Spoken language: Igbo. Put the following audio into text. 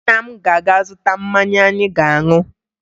Nna m ga-aga zụta mmanya anyị ga-aṅụ